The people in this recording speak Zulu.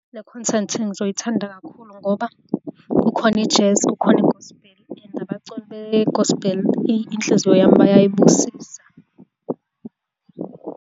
Le content ngizoyithanda kakhulu ngoba kukhona i-jazz, kukhona i-gospel and abaculi be-gospel iInhliziyo yami bayayibusisa.